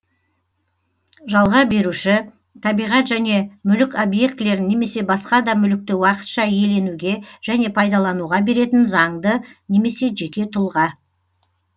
жалға беруші табиғат және мүлік объектілерін немесе басқа да мүлікті уақытша иеленуге және пайдалануға беретін заңды немесе жеке тұлға